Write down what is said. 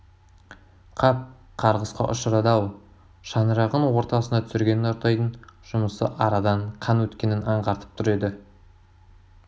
қап қарғысқа ұшырады-ау шаңырағын ортасына түсірген нұртайдың жұмысы арадан қан өткенін аңғартып тұр еді